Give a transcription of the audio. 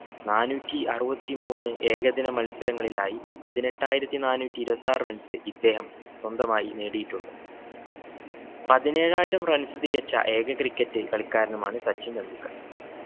നാനൂറ്റി അറുപത്തി മൂന്ന് ഏകദിന മത്സരങ്ങളിലായി പതിനെട്ടായിരത്തി നാനൂറ്റി ഇരുപത്താറ് runs ഇദ്ദേഹം സ്വന്തമായി നേടിയിട്ടുണ്ട്. പതിനേഴായിരം runs തികച്ച ഏക cricket കളിക്കാരനുമാണ് സച്ചിൻ ടെണ്ടുൽക്കർ.